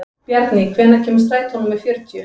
Bjarný, hvenær kemur strætó númer fjörutíu?